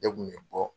Ne kun bɛ bɔ